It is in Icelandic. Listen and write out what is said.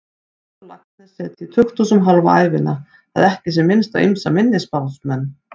Halldór Laxness setið í tukthúsum hálfa ævina, að ekki sé minnst á ýmsa minni spámenn.